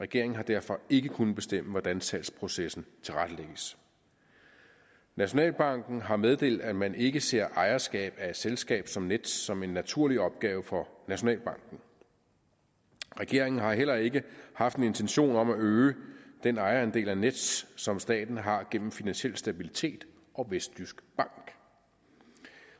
regeringen har derfor ikke kunnet bestemme hvordan salgsprocessen tilrettelægges nationalbanken har meddelt at man ikke ser ejerskab af et selskab som nets som en naturlig opgave for nationalbanken regeringen har heller ikke haft en intention om at øge den ejerandel af nets som staten har gennem finansiel stabilitet og vestjysk bank